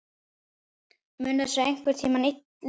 Mun þessu einhvern tímann linna?